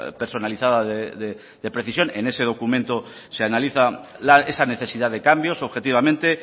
personalizada de precisión en ese documento se analizan esa necesidad de cambios objetivamente